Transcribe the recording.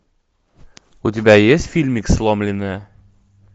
у тебя есть фильмик сломленная